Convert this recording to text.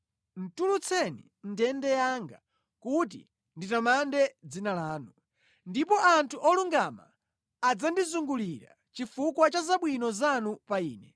Tulutseni mʼndende yanga kuti nditamande dzina lanu. Ndipo anthu olungama adzandizungulira chifukwa cha zabwino zanu pa ine.